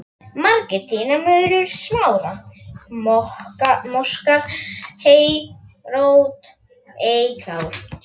Margir tína murur, smára, moskað hey og rót ei klára